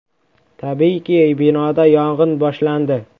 Tabiiyki, binoda yong‘in boshlandi.